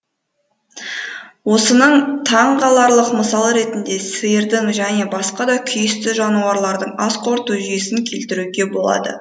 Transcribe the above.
осының таңғаларлық мысалы ретінде сиырдың және басқа да күйісті жануарлардың ас қорыту жүйесін келтіруге болады